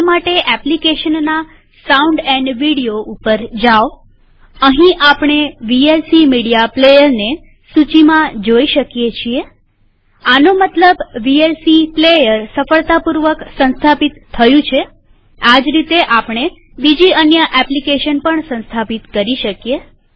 તે માટેએપ્લીકેશનના sound and video ઉપર જાઓઅહીં આપણે વીએલસી મીડિયા પ્લેયર ને સૂચિમાં જોઈ શકીએ છીએમતલબ વીએલસી સફળતાપૂર્વક સંસ્થાપિત થયું છેઆજ રીતેઆપણે બીજી અન્ય એપ્લીકેશન પણ સંસ્થાપિત કરી શકીએ